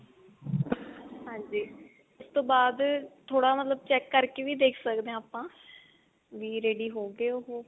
ਹਾਂਜੀ ਉਸਤੋਂ ਬਾਅਦ ਥੋੜਾ ਮਤਲਬ check ਕਰਕੇ ਵੀ ਦੇਖ ਸਕਦੇ ਹਾਂ ਆਪਾਂ ਵੀ ready ਹੋਗੇ ਉਹ